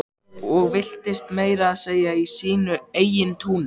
Og villtist meira að segja í sínu eigin túni.